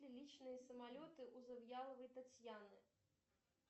личные самолеты у завьяловой татьяны